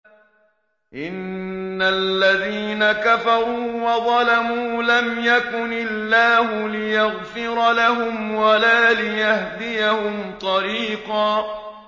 إِنَّ الَّذِينَ كَفَرُوا وَظَلَمُوا لَمْ يَكُنِ اللَّهُ لِيَغْفِرَ لَهُمْ وَلَا لِيَهْدِيَهُمْ طَرِيقًا